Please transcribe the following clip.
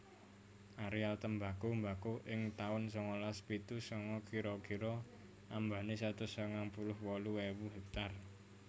Aréal tembako mbako ing taun sangalas pitu sanga kira kira ambané satus sangang puluh wolu ewu hektar